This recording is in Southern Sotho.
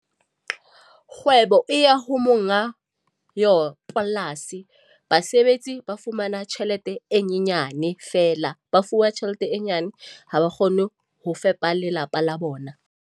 Kgwebo e ya ho monga yo polasi. Basebetsi ba fumana tjhelete e nyenyane feela. Ba fuwa tjhelete e nyane, ha ba kgone ho fepa lelapa la bona.